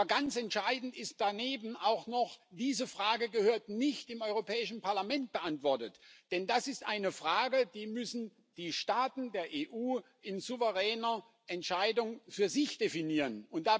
Aber ganz entscheidend ist daneben auch noch Diese Frage gehört nicht im Europäischen Parlament beantwortet, denn das ist eine Frage, die die Staaten der EU in souveräner Entscheidung für sich definieren müssen.